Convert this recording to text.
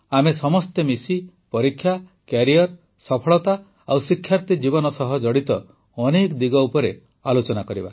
ଆମେ ସମସ୍ତେ ମିଶି ପରୀକ୍ଷା କ୍ୟାରିଅର ସଫଳତା ଓ ଶିକ୍ଷାର୍ଥୀ ଜୀବନ ସହ ଜଡ଼ିତ ଅନେକ ଦିଗ ଉପରେ ଆଲୋଚନା କରିବା